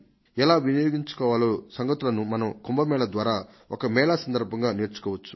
ఎలా వినియోగించుకోవాలనే సంగతులను మనం కుంభ మేళ ద్వారా ఈ మేళా సందర్భంగా నేర్చుకోవచ్చు